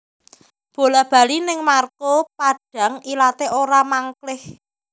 Bola bali ning Marco Padang ilate ora mangklih